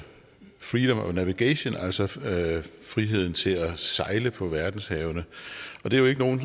freedom of navigation altså friheden friheden til at sejle på verdenshavene og det er jo ikke nogen